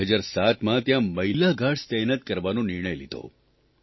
2007માં ત્યાં મહિલા ગાર્ડઝરખેવાળ તહેનાત કરવાનો નિર્ણય લીધો